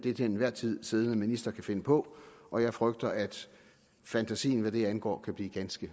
en til enhver tid siddende minister kan finde på og jeg frygter at fantasien hvad det angår kan blive ganske